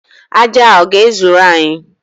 Aja a ọ ga-ezuru anyị?